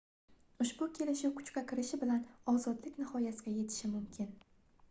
ushbu kelishiv kuchga kirishi bilan ozodlik nihoyasiga yetishi mimkin